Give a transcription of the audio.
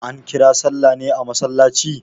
An kira sallah ne a masallaci?